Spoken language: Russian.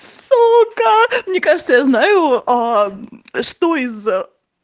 сука мне кажется я знаю аа мм что из